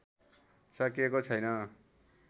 सकिएको छैन